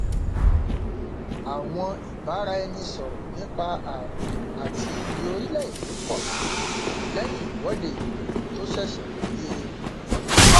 àwọn ìbára ẹni sọrọ nípa ààbò àti iyì orílẹ èdè pọ sí i lẹyìn ìwọde ìlú tó ṣẹṣẹ wáyé